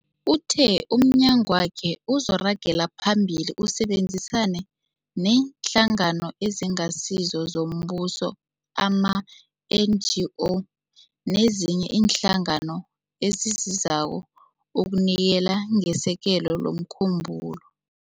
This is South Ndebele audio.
Uthe umnyagwakhe uzoragela phambili usebenzisane neeNhlangano eziNgasizo zoMbuso, ama-NGO, nezinye iinhlangano ezisizako ukunikela ngesekelo lomkhumbulo.